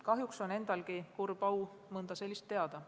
Kahjuks on mul endalgi kurb au mõnda sellist teada.